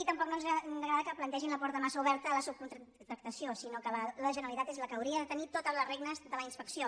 tampoc no ens agrada que plantegin la porta massa oberta a la subcontractació sinó que la generalitat és la que hauria de tenir totes les regnes de la inspecció